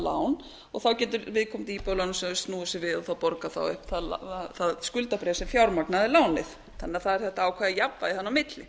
lán og þá getur viðkomandi íbúðalánasjóður snúið þessu við og þá borgað þá upp það skuldabréf sem fjármagnaði lánið þannig að það er þetta ákveðið jafnvægi þarna á milli